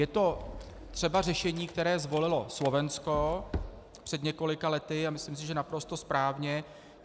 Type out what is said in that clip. Je to třeba řešení, které zvolilo Slovensko před několika lety a myslím si, že naprosto správně.